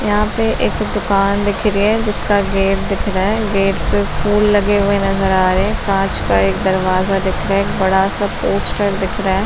यहाँ पे एक दुकान दिख रही है जिसका गेट दिख रहा है। गेट पर फूल लगे हुए नजर आ रहे है। कांच का एक दरवाजा दिख रहा है एक बड़ा सा पोस्टर दिख रहा है।